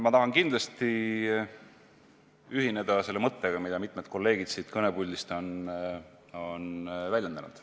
Ma tahan kindlasti ühineda selle mõttega, mida mitmed kolleegid siit kõnepuldist on väljendanud.